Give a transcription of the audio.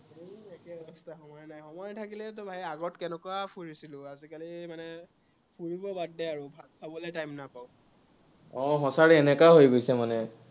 সময় নাথাকিলেতো ভাই আগত কেনেকুৱা ফুৰিছিলো, আজিকালি মানে ফুৰিব বাদ দে আৰু, ভাত খাবলে time এ নাপাঁও। অ সচাকে এনেকুৱাই হৈ গৈছে মানে।